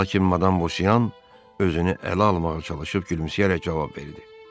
Lakin madam Bosyan özünü ələ almağa çalışıb gülümsəyərək cavab verdi.